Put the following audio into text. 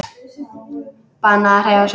Bannað að hreyfa sig.